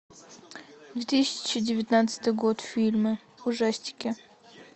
две тысячи девятнадцатый год фильмы ужастики